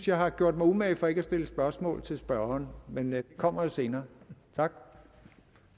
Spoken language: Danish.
jeg har gjort mig umage for ikke at stille spørgsmål til spørgeren men det kommer jo senere